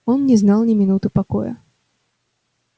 он не знал ни минуты покоя